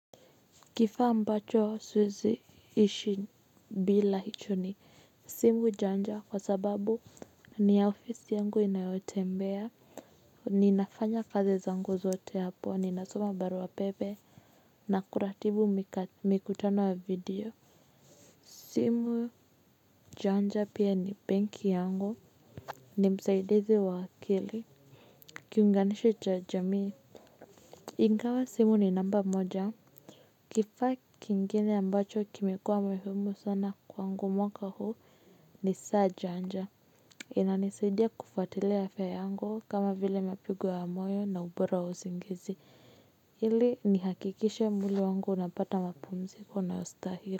Kifaa ambacho siweizi ishi bila hicho ni simu janja kwa sababu ni ya ofisi yangu inayotembea, ninafanya kazi zangu zote hapo, ninasoma barua pepe na kuratibu mikutano wa video. Simu janja pia ni benki yangu, ni msaidizi wa akili. Kiunganishi cha jamii. Ingawa simu ni namba moja. Kifaa kingine ambacho kimekuwa muhimu sana kwangu mwaka huu ni saa janja. Inanisidia kufuatilia afya yangu kama vile mapigo ya moyo na ubora wa usingizi. Ili nihakikishe mwili wangu unapata mapumziko unaostahili.